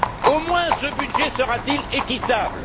Au moins ce budget sera t il équitable!